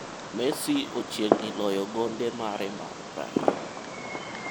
Messi ochiegni loyo gonde mare mar 20.